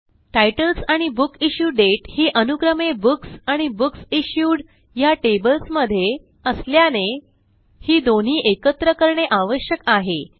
titles आणि book issue date ही अनुक्रमे बुक्स आणि बुकसिश्यूड ह्या टेबल्स मध्ये असल्याने ही दोन्ही एकत्र करणे आवश्यक आहे